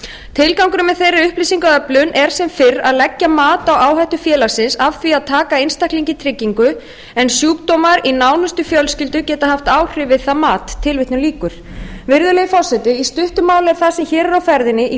tilgangurinn með þeirri upplýsingaöflun er sem fyrr að leggja mat á áhættu félagsins af því að taka einstakling í tryggingu en sjúkdómar í nánustu fjölskyldu geta haft áhrif við það mat virðulegi forseti í stuttu máli er það sem hér er á ferðinni í